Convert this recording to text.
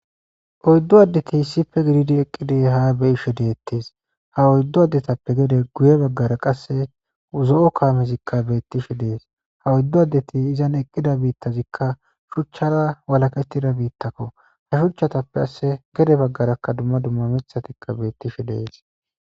Oyddu addeki hissife gididi eqqidie haa beyishe deettees ha oyddu addetappe gede guye baggara qasse zo'o kaamezikka beettishe dees ha oyddu addeti izan eqqida biittazikka shuchchara walakettida biittakko ha shuchchatappe asse gede baggaraka dumma dumma mithatikka beettishe dees